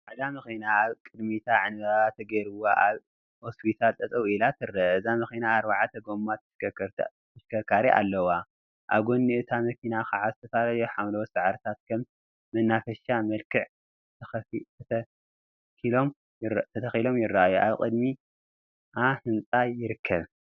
ፃዕዳ መኪና አብ ቅድሚታ ዕንበባ ተገይሩዋ አብ እስፓልት ጠጠው ኢላ ትርአ፡፡ እዛ መኪና አርባዕተ ጎማ ተሽከርካሪ አለዋ፡፡ አብ ጎኒ እታ መኪና ከዓ ዝተፈላለዩ ሓምላዎት ሳዕሪታት ከም መናፈሻ መልክዕ ተተኪሎም ይረአዩ፡፡ አብ ቅድሚ አ ህንፃ ይርከብ፡፡